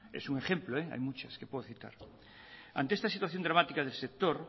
es un ejemplo hay muchas que puedo citar ante esta situación dramática del sector